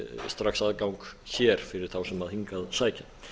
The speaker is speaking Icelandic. strax aðgang hér fyrir þá sem hingað sækja